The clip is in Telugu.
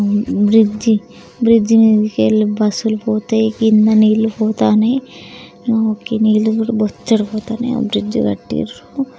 బ్రిడ్జ్ బ్రిడ్జ్ మీదికెల్లి బస్సు లు పోతాయి కింద నీళ్లు పోతన్నాయి నీళ్లుకూడా బొచ్చాడు పోతన్నాయి బ్రిడ్జ్ కట్టిండ్రు